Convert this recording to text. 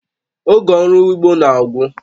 Oge ọrụ ugbo na-agwụ